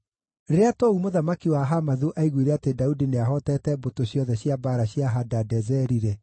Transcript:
Rĩrĩa Tou mũthamaki wa Hamathu aaiguire atĩ Daudi nĩahootete mbũtũ ciothe cia mbaara cia Hadadezeri-rĩ,